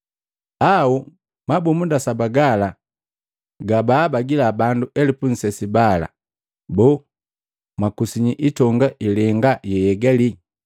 Amala mabumunda saba gala gabaabagila bandu elupu nsesi bala, boo, mwakusinyi itonga ilenga yeyaigali?